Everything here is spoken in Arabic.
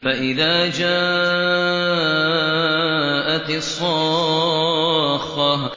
فَإِذَا جَاءَتِ الصَّاخَّةُ